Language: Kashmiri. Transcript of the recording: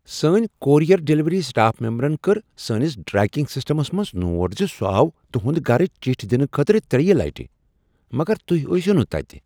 سٲنۍ کورئیر ڈلیوری سٹاف ممبرن کٔر سٲنس ٹریکنگ سسٹمس منٛز نوٹ زِ سُہ آو تُہند گرٕ چٹھۍ دنہٕ خٲطرٕ ترٛیٚیہ لٹہ، مگر تُہۍ ٲسوٕ نہٕ تتِہ۔